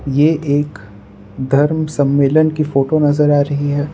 ये एक धर्म सम्मेलन की फोटो नजर आ रही है।